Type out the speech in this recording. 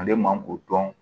Ale man k'o dɔn